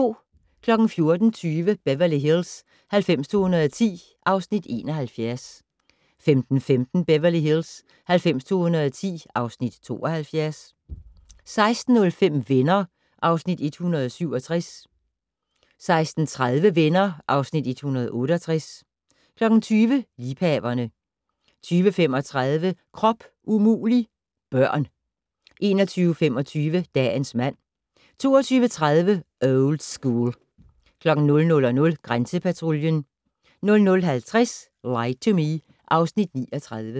14:20: Beverly Hills 90210 (Afs. 71) 15:15: Beverly Hills 90210 (Afs. 72) 16:05: Venner (Afs. 167) 16:30: Venner (Afs. 168) 20:00: Liebhaverne 20:35: Krop umulig - børn 21:25: Dagens mand 22:30: Old School 00:00: Grænsepatruljen 00:50: Lie to Me (Afs. 39)